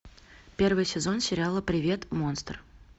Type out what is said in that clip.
первый сезон сериала привет монстр